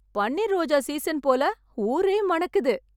பன்னீர் ரோஜா சீசன் போல.. ஊரே மணக்குது!